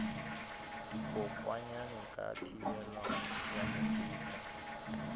dikokwanyana ka thibelo ya mefuta